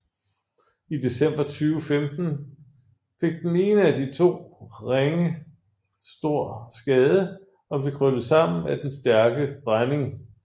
I december 2015 fik den ene af de to ringe stor skade og blev krøllet sammen af den stærke brænding